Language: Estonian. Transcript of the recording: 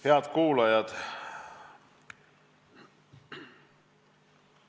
Head kuulajad!